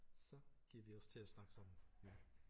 Så giver vi os til at snakke sammen